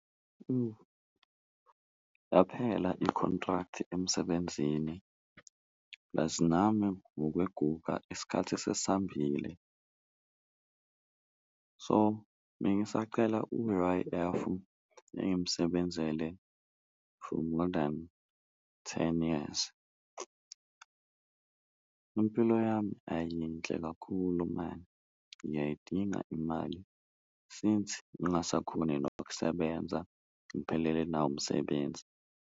Yaphela i-contract emsebenzini plus nami ngokweguga isikhathi sesambile so, bengisacela u-U_I_F engimsebenzele for more than ten years. Impilo yami ayiyinhle kakhulu mani, ngiyayidinga imali since ngingasakhoni nokusebenza ngiphelele nawumsebenzi.